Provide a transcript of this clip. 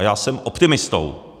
A já jsem optimistou.